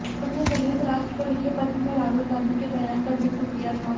उसने संयुक्त राष्ट्र को लिखे पत्र में राहुल गॉंधी के बयान का जिक्र किया था